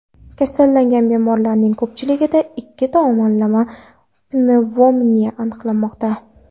Kasallangan bemorlarning ko‘pchiligida ikki tomonlama pnevmoniya aniqlanmoqda.